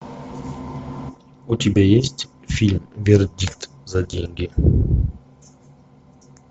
у тебя есть фильм вердикт за деньги